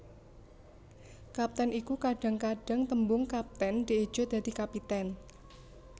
Kapten iku Kadhang kadhang tembung kaptèn dieja dadi kapitèn